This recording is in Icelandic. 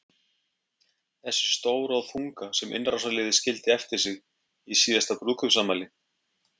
Þessi stóra og þunga sem innrásarliðið skildi eftir sig í síðasta brúðkaupsafmæli?